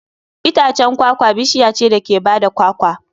Itacen kwakwa bishiya ce da ke ba da kwakwa.